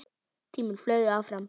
Tíminn flaug áfram.